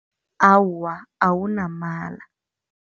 Awa, awunamala.